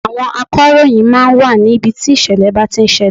Àwọn akọ̀ròyìn máa ń wà ní ibi tí ìṣẹ̀lẹ̀ ń bá ti ń ṣẹlẹ̀.